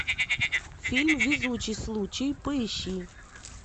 фильм везучий случай поищи